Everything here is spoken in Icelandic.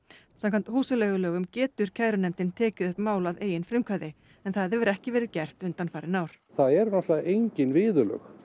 samkvæmt húsaleigulögum getur kærunefndin tekið upp mál að eigin frumkvæði það hefur ekki verið gert undanfarin ár það eru náttúrulega engin viðurlög